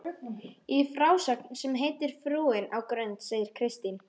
Í frásögn sem heitir Frúin á Grund segir Kristín